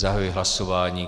Zahajuji hlasování.